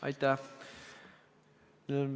Aitäh!